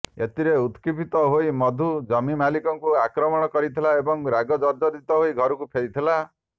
ଏଥିରେ ଉତ୍କ୍ଷିପ୍ତ ହୋଇ ମଧୁ ଜମି ମାଲିକଙ୍କୁ ଆକ୍ରମଣ କରିଥିଲା ଏବଂ ରାଗ ଜର୍ଜରିତ ହୋଇ ଘରକୁ ଫେରିଥିଲା